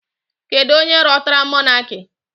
Kedu onye rọtara mọnaki?